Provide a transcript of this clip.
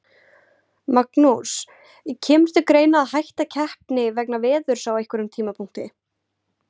Magnús: Kemur til greina að hætta keppni vegna veðurs á einhverjum tímapunkti?